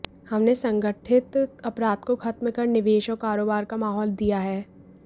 हमने संगठित अपराध को खत्म कर निवेश और कारोबार का माहौल दिया है